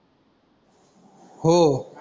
हो